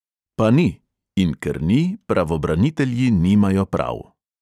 Pa ni – in ker ni, pravobranitelji nimajo prav.